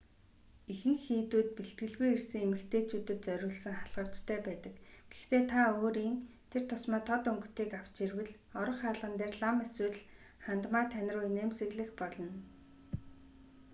ихэнх хийдүүд бэлтгэлгүй ирсэн эмэгтэйчүүдэд зориулсан халхавчтай байдаг гэхдээ та өөрийн тэр тусмаа тод өнгөтэйг авч ирвэл орох хаалган дээр лам эсвэл хандмаа тань руу инээмсэглэх болно